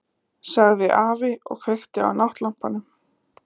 sagði afi og kveikti á náttlampanum.